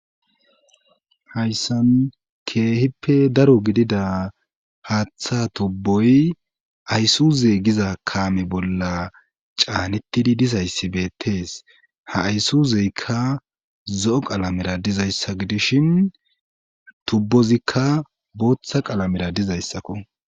hayssan keehippe daro gidida haaththa tubboy ayssuzey giza kaame bolla caanettidi dizayssi beettees ha aysuuzeykka zo7o qalamera dizayssa gidishin tubbozikka booththa qalamera dizayssakko